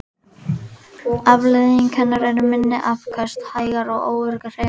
Afleiðing hennar eru minni afköst, hægar og óöruggar hreyfingar.